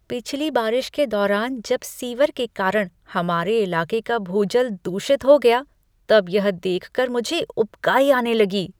पिछली बारिश के दौरान जब सीवर के कारण हमारे इलाके का भूजल दूषित हो गया तब यह देख कर मुझे उबकाई आने लगी।